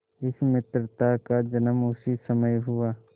इस मित्रता का जन्म उसी समय हुआ